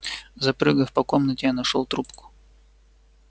запрыгав по комнате я нашёл трубку